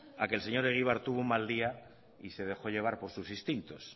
a que el señor egibar tuvo un mal día y se dejó llevar por sus instintos